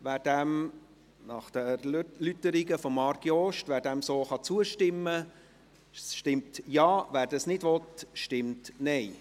Wer dieser nach den Erläuterungen von Marc Jost so zustimmen kann, stimmt Ja, wer dies nicht will, stimmt Nein.